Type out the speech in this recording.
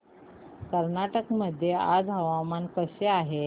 कर्नाटक मध्ये आज हवामान कसे आहे